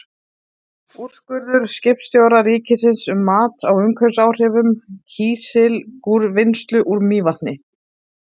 Úrskurður skipulagsstjóra ríkisins um mat á umhverfisáhrifum kísilgúrvinnslu úr Mývatni.